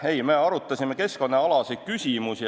Ei, me arutasime keskkonnaküsimusi.